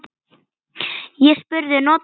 Ég spurði: Notar þú þetta?